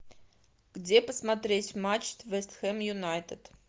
где посмотреть матч вест хэм юнайтед